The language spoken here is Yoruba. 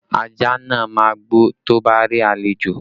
Ajá náà máa gbó tó bá rí àlejò